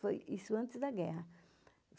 Foi isso antes da guerra.